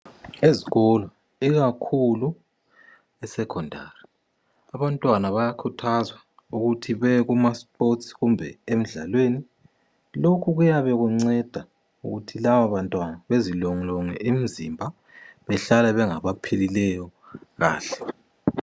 Ezikolo ikakhulu esecondary. Abantwana bayakhuthazwa ukuthi beyekumasipotsi kumbe emdlalweni. Lokhu kuyabe kubanceda ukuthi laba bantwana bazilolonge imzimba bahlale bengabaphilileyo kahle.